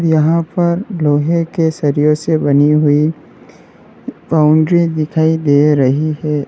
यहां पर लोहे के सरिए से बनी हुई बाउंड्री दिखाई दे रही है।